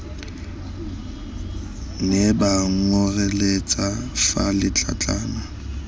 ne ba nkgoreletsa fa letlatlana